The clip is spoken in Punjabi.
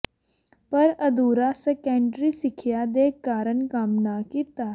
ਪਰ ਅਧੂਰਾ ਸੈਕੰਡਰੀ ਸਿੱਖਿਆ ਦੇ ਕਾਰਨ ਕੰਮ ਨਾ ਕੀਤਾ